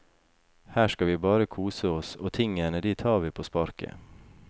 Her skal vi bare kose oss og tingene de tar vi på sparket.